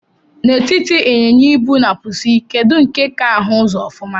Na etiti inyịnya-ibu na pusi, kedu nke ka ahu uzọ ofuma?